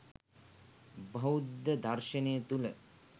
බෞද්ධ දර්ශනය තුළ